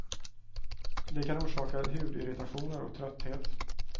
Det kan orsaka hudirritationer och trötthet.